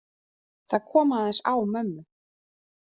Það kom aðeins á mömmu.